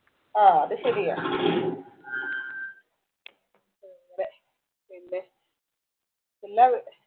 ആഹ് അത് ശരിയാ അതെ പിന്നെ എല്ലാ